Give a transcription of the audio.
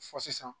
Fɔ sisan